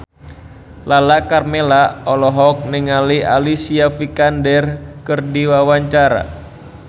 Lala Karmela olohok ningali Alicia Vikander keur diwawancara